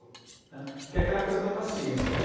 né? Porque é aquela coisa da paciência, né?